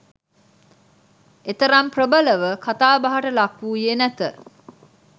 එතරම් ප්‍රභලව කථාබහට ලක්වුයේ නැත